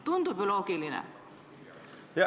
Tundub ju loogiline?